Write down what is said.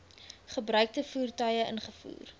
gebruikte voertuie ingevoer